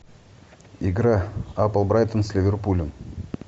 игра апл брайтон с ливерпулем